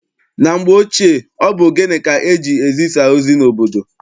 Na mgbe ochie, ọ bụ ogene ka eji-ezisa ozi n'obodo.